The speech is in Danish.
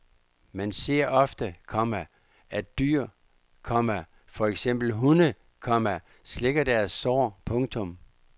Man ser ofte, komma at dyr, komma for eksempel hunde, komma slikker deres sår. punktum